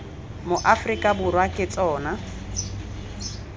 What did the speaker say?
mo aforika borwa ke tsona